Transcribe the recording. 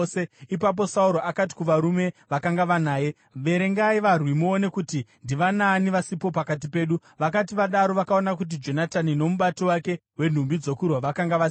Ipapo Sauro akati kuvarume vakanga vanaye, “Verengai varwi muone kuti ndivanaani vasipo pakati pedu.” Vakati vadaro vakaona kuti Jonatani nomubati wake wenhumbi dzokurwa vakanga vasipo.